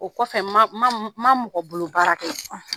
O kɔfɛ ma mɔgɔ bolo baara kɛ